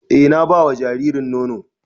E na ba wa jaririn nono